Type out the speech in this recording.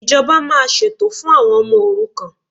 Ìjọba máa ṣètò fún àwọn ọmọ òrukàn